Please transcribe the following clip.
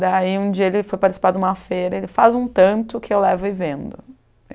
Daí um dia ele foi participar de uma feira, ele faz um tanto que eu levo e vendo.